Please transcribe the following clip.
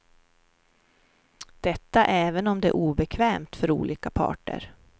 Detta även om det är obekvämt för olika parter.